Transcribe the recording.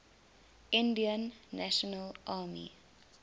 indian national army